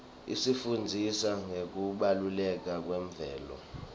isifundzisa ngekubaluleka kwemvelo